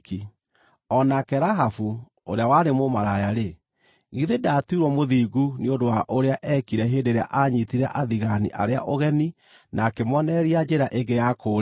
O nake Rahabu ũrĩa warĩ mũmaraya-rĩ, githĩ ndaatuirwo mũthingu nĩ ũndũ wa ũrĩa eekire hĩndĩ ĩrĩa aanyiitire athigaani arĩa ũgeni na akĩmoonereria njĩra ĩngĩ ya kũũrĩra?